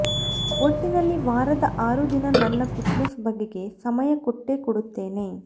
ಒಟ್ಟಿನಲ್ಲಿ ವಾರದ ಆರು ದಿನ ನನ್ನ ಫಿಟ್ನೆಸ್ ಬಗೆಗೆ ಸಮಯ ಕೊಟ್ಟೇ ಕೊಡುತ್ತೇನೆ